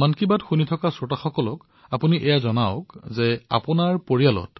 মন কী বাত শুনি থকা শ্ৰোতাসকলক আপুনি জনাওক যে আপোনাৰ পৰিয়ালত